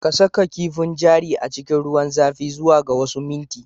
Saka kifin jari a cikin ruwan zafi zuwa ga wasu minti